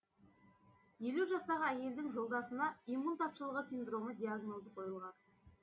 елу жастағы әйелдің жолдасына иммун тапшылығы синдромы диагнозы қойылған